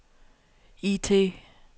IT